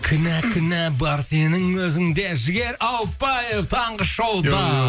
кінә кінә бар сенің өзіңде жігер ауыпбаев таңғы шоуда